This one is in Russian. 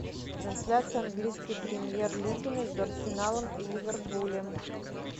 трансляция английской премьер лиги между арсеналом и ливерпулем